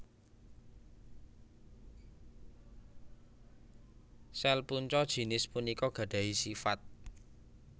Sel punca jinis punika gadahi sifat